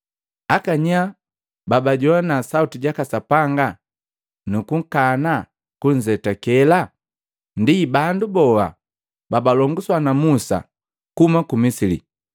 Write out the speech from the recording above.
Akanyaa babajoana sauti jaka Sapanga nukukana kunzetakela? Ndi bandu boa babalonguswa na Musa kuhuma ku Misili.